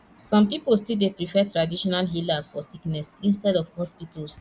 some pipo still dey prefer traditional healers for sickness instead of hospitals